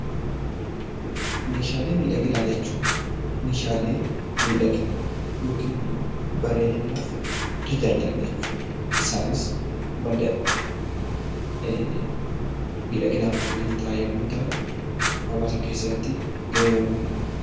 Meeshaalee miidhaginaa jechuun meeshaalee miidhagina yokin immoo bareedinaaf tajaajilan jechuudha. Isaanis madda miidhaginaaf kanneen ta'an yommuu ta'an hawaasa keessatti gahee olaanaa qabu.